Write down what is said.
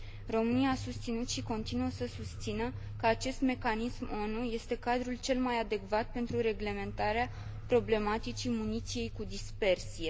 România a susținut și continuă să susțină că acest mecanism ONU este cadrul cel mai adecvat pentru reglementarea problematicii muniției cu dispersie.